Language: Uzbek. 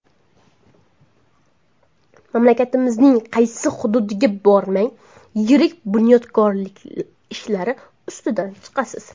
Mamlakatimizning qaysi hududiga bormang yirik bunyodkorlik ishlari ustidan chiqasiz.